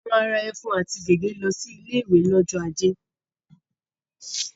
A máa ra ẹ̀fún àti gègé lọ sí ilé-ìwé lọ́jọ́ ajé.